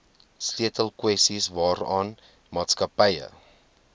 sleutelkwessies waaraan maatskappye